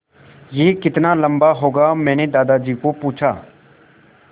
यह कितना लम्बा होगा मैने दादाजी को पूछा